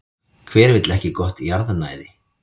Hver vill ekki gott jarðnæði?